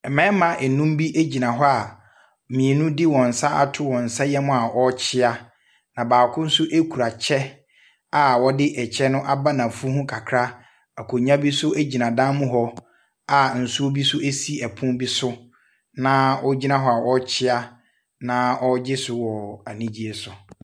Ɛmɛɛma ɛnum bi ɛgyina hɔ a mmienu de wɔn nsa ato wɔn nsa yɛm a ɔɔkyea. Na baako nso ɛkura kyɛ a wɔde ɛkyɛ no aba n'afu ho kakra. Akonnwa bi so ɛgyina dan mu hɔ a nsuo bi so ɛsi ɛpono bi so naa ɔgyina hɔ a ɔɔkyea naa ɔɔgye so wɔ anigyeɛ so.